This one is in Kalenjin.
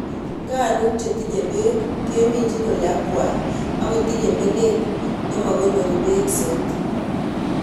Nganuk chetinye beek keminjin ole akwai ak kotinye menet nemokonorin beek soiti.